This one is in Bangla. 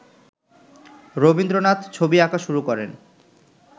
রবীন্দ্রনাথ ছবি আঁকা শুরু করেন